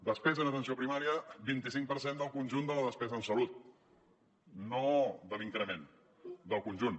despesa en atenció primària vint cinc per cent del conjunt de la despesa en salut no de l’increment del conjunt